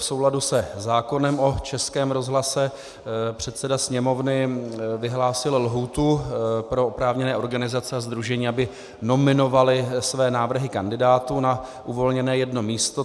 V souladu se zákonem o Českém rozhlase předseda Sněmovny vyhlásil lhůtu pro oprávněné organizace a sdružení, aby nominovaly své návrhy kandidátů na uvolněné jedno místo.